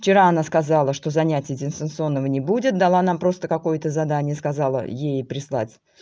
вчера она сказала что занятия дистанционного не будет дала нам просто какое-то задание сказала ей прислать